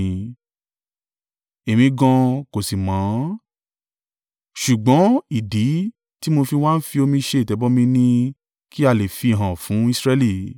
Èmi gan an kò sì mọ̀ ọ́n, ṣùgbọ́n ìdí tí mo fi wá ń fi omi ṣe ìtẹ̀bọmi ni kí a lè fi í hàn fún Israẹli.”